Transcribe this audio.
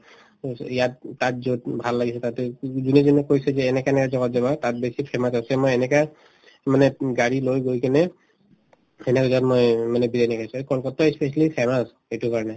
ইয়াত তাত যত ভাল লাগিছে তাতে এজনে কৈছো যে এনেকা এনেকা জাগাত যাবা তাত বেছি famous হয় মই এনেকা মানে গাড়ী লৈ গৈ কিনে জাগাত মই মানে বিৰিয়ানি খাইছো আৰু কলকাট্টা ই specially famous এইটোৰ কাৰণে